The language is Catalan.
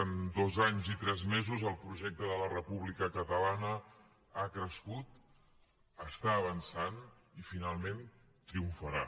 en dos anys i tres mesos el projecte de la república catalana ha crescut està avançant i finalment triomfarà